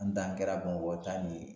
N dan kɛra bamakɔ ta nin ye